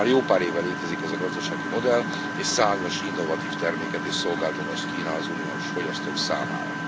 Már jó pár éve létezik ez a gazdasági modell és számos innovatív terméket és szolgáltatást kínál az uniós fogyasztók számára.